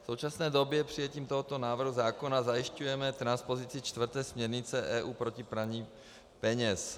V současné době přijetím tohoto návrhu zákona zajišťujeme transpozici čtvrté směrnice EU proti praní peněz.